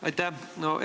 Aitäh!